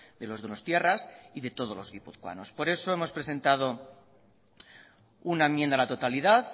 de los donostiarras y de todos los guipuzcoanos por eso hemos presentado una enmienda a la totalidad